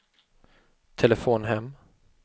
telefon hem